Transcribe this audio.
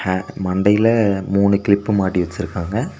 அ மண்டைல மூணு கிளிப்பு மாட்டி வச்சிருக்காங்க.